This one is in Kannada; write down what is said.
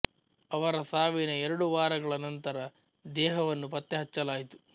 ಅವರ ಸಾವಿನ ಎರಡು ವಾರಗಳ ನಂತರ ದೇಹವನ್ನು ಪತ್ತೆ ಹಚ್ಚಲಾಯಿತು